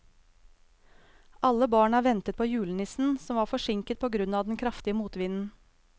Alle barna ventet på julenissen, som var forsinket på grunn av den kraftige motvinden.